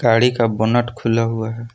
गाड़ी का खुला हुआ है।